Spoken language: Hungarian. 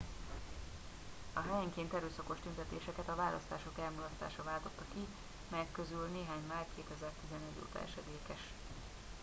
a helyenként erőszakos tüntetéseket a választások elmulasztása váltotta ki melyek közül néhány már 2011 óta esedékes